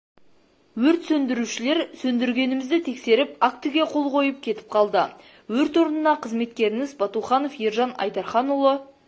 өрт сөндірушілер сөндіргенімізді тексеріп актіге қол қойып кетіп қалды өрт орнына қызметкеріңіз батуханов ержан айдарханұлы